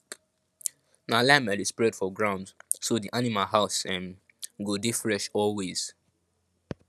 na lime i dey spread for ground so di animal house um go dey fresh always